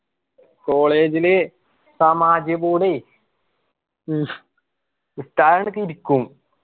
college ലി സമാജ് board ഒക്കെ ഇരിക്കും